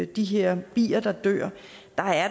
de her bier der dør